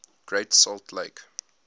great salt lake